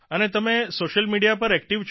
અને તમે social media પર એકટીવ છો